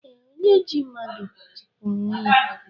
Ee, onye ji mmadụ jikwa onwe ya